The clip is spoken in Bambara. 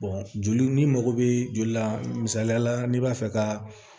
joli n'i mago bɛ joli la misaliya la n'i b'a fɛ ka